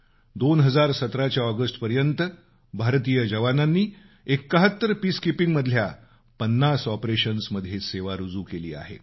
2017 च्या ऑगस्टपर्यंत भारतीय जवानांनी 71 पीसकीपिंग मधल्या किमान 50 ऑपरेशन्समध्ये सेवा रुजू केली आहे